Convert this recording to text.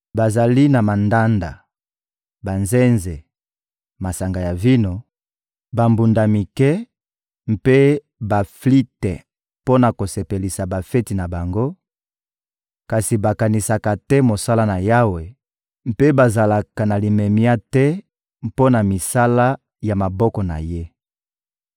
Bazali na mandanda, banzenze, masanga ya vino, bambunda mike mpe baflite mpo na kosepelisa bafeti na bango, kasi bakanisaka te mosala na Yawe mpe bazalaka na limemia te mpo na misala ya maboko na Ye.